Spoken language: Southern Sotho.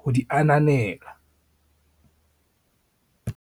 ho di ananela.